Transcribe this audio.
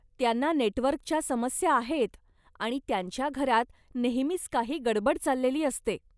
त्यांना नेटवर्कच्या समस्या आहेत आणि त्यांच्या घरात नेहमीच काही गडबड चाललेली असते.